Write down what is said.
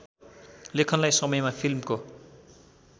लेखनलाई समयमा फिल्मको